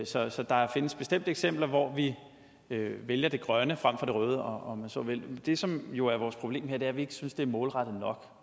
så så der findes bestemt eksempler hvor vi vælger det grønne fremfor det røde om man så vil men det som jo er vores problem er at vi ikke synes det er målrettet